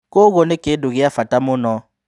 Kwa uguo ni kindũ gia bata mũno